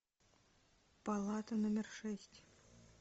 палата номер шесть